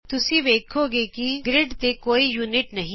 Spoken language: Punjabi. ਤੁਸੀਂ ਵੲਖੋਗੇ ਕਿ ਗਰਿਡ ਤੇ ਕੋਈ ਇਕਾਈ ਨਹੀਂ ਹੈ